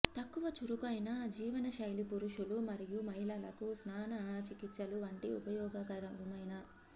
తక్కువ చురుకైన జీవనశైలి పురుషులు మరియు మహిళలకు స్నాన చికిత్సలు వంటి ఉపయోగకరమైన